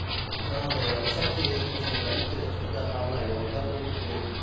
біз анадай рұқсат керек сосын иттерді қыдыртатын арнайы орындар болу керек